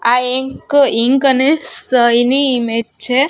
આ એક ઇન્ક અને સયની ઇમેજ છે.